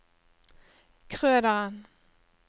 Krøderen